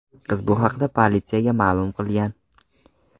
Qiz bu haqda politsiyaga ma’lum qilgan.